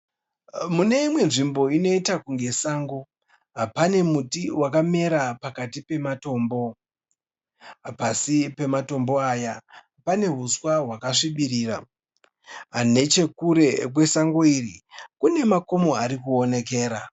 Muimwe nzvimbo inoita kunge sango, pane multi wakamera pakati pematombo. Pasi pematombo aya pane huswa hwakasvibira. Nechekure kwesango iri kune makomo arikuonekera